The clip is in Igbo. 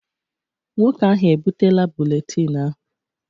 Nwoke ahụ ebutela buletin ahụ.